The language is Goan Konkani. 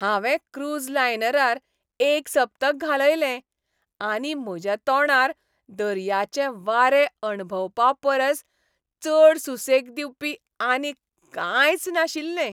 हांवें क्रूझ लायनरार एक सप्तक घालयलें, आनी म्हज्या तोंडार दर्याचें वारें अणभवपापरस चड सुसेग दिवपी आनीक कांयच नाशिल्लें.